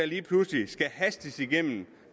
lige pludselig skal hastes igennem